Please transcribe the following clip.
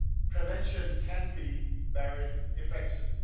Prevention can be very effective.